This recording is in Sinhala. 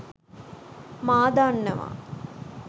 මා දන්නවා.